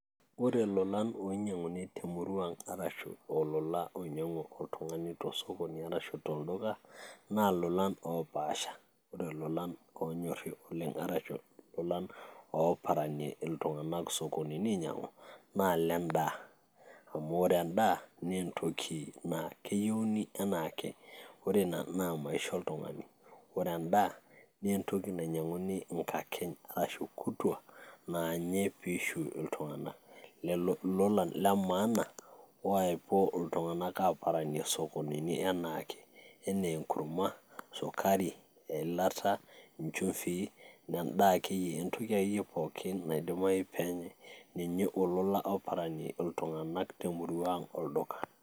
Ore ololan oiiny'anguni te murruaang arashu olola oiny'angu oltungani tosokoni arashu to olduka naa olulan opaasha, ore olulan oonyori naa olulan ooparanie ltunganak sokonini ainyang'u naa le indaa amu ore endaa naa entoki naa keyeuni anaake, ore ina naa maisha otungani ore endaa, nee entoki nainyang'uni inkakeny ashu kutwaa naanyei peishu iltungana lelo lulan le maana oepo ltunganak aaparanie sokonini anaake enee enkurrumwa, esukari, elata inchumvii na endaa ake iye entoki pookin naidimayu ake peenyei, ninye olula oparani ltunganak te murruang olduka.